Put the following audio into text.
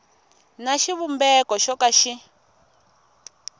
na xivumbeko xo ka xi